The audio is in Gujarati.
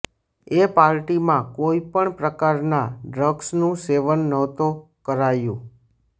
એ પાર્ટીમાં કોઈ પણ પ્રકારના ડ્રગ્સનું સેવન નહોતું કરાયું